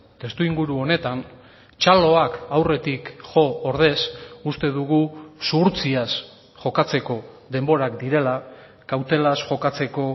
testuinguru honetan txaloak aurretik jo ordez uste dugu zuhurtziaz jokatzeko denborak direla kautelaz jokatzeko